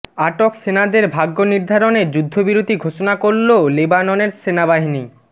আটক সেনাদের ভাগ্য নির্ধারণে যুদ্ধবিরতি ঘোষণা করল লেবাননের সেনাবাহিনী